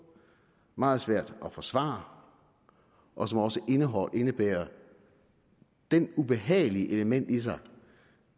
meget svært at forsvare og som også indebærer det ubehagelige element